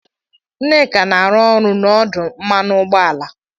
Nneka na-arụ ọrụ n'ọdụ mmanụ ụgbọala